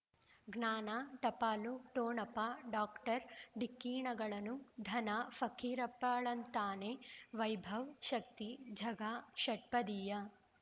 ಜ್ಞಾನ ಟಪಾಲು ಠೊಣಪ ಡಾಕ್ಟರ್ ಢಿಕ್ಕಿ ಣಗಳನು ಧನ ಫಕೀರಪ್ಪ ಳಂತಾನೆ ವೈಭವ್ ಶಕ್ತಿ ಝಗಾ ಷಟ್ಪದಿಯ